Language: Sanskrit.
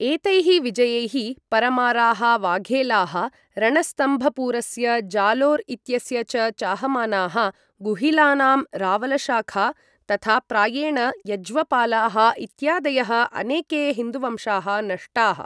एतैः विजयैः परमाराः, वाघेलाः, रणस्तम्भपुरस्य जालोर् इत्यस्य च चाहमानाः, गुहिलानां रावलशाखा, तथा प्रायेण यज्वपालाः इत्यादयः अनेके हिन्दुवंशाः नष्टाः।